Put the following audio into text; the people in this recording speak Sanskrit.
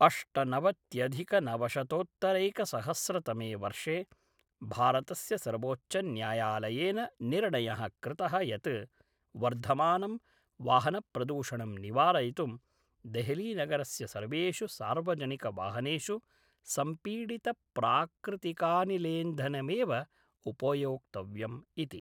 अष्टनवत्यधिकनवशतोत्तरैकसहस्रतमे वर्षे भारतस्य सर्वोच्चन्यायालयेन निर्णयः कृतः यत् वर्धमानं वाहनप्रदूषणं निवारयितुं देहलीनगरस्य सर्वेषु सार्वजनिकवाहनेषु संपीडितप्राकृतिकानिलेन्धनमेव उपयोक्तव्यम् इति